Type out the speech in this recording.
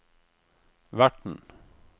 verten